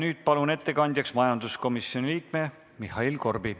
Nüüd palun ettekandjaks majanduskomisjoni liikme Mihhail Korbi.